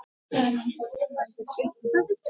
Munu Svíar sakna hans?